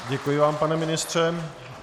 Děkuji vám, pane ministře.